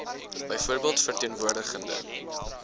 byvoorbeeld verteen woordigende